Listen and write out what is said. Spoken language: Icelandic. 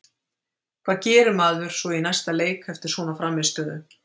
Hvað gerir maður svo í næsta leik eftir svona frammistöðu?